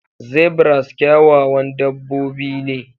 Zebras kyawawan dabbobi ne.